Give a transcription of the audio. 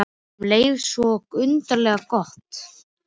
Og um leið svo undarlega gott.